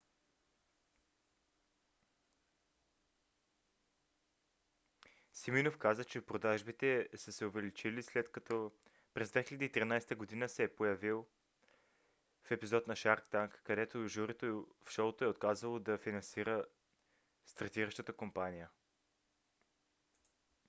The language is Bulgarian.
симиноф каза че продажбите са се увеличили след като през 2013 г. се появил в епизод на shark tank където журито в шоуто е отказало да финансира стартиращата компания